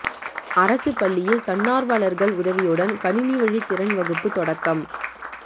அரசுப் பள்ளியில் தன்னாா்வலா்கள் உதவியுடன் கணினி வழி திறன் வகுப்பு தொடக்கம்